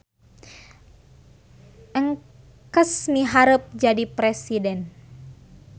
Engkes miharep jadi presiden